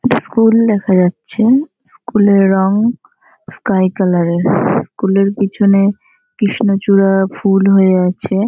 এটা স্কুল দেখা যাচ্ছে। স্কুল -এর রং স্কাই কালার -এর । স্কুল -এর পিছনে কৃষ্ণচূড়া ফুল হয়ে আছে।